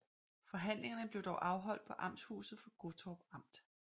Forhandlingerne blev dog afholt på amtshuset for Gottorp Amt